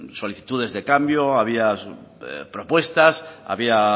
solicitudes de cambio había propuestas había